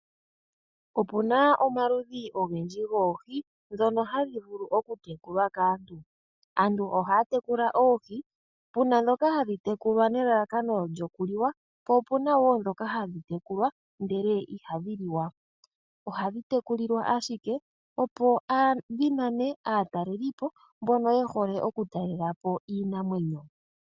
Opu na omaludhi ogendji goohi dhono hadhi vulu okutekulwa kaantu. Aantu ohaya tekula oohi, pu na dhoka hadhi tekulwa nelalakano lyoku liwa, po opu na wo dhoka hadhi tekulwa ndele ihadhi liwa. Ohadhi tekulilwa ashike opo dhi nane aatalelipo mbono ye hole okutalela po iinamwenyo.